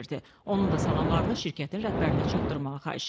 Onun da salamlarını şirkətin rəhbərinə çatdırmağı xahiş etdi.